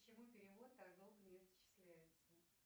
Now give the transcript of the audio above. почему перевод так долго не зачисляется